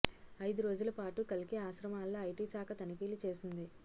ఐదు రోజుల పాటు కల్కి ఆశ్రమాల్లో ఐటీ శాఖ తనిఖీలు చేసింది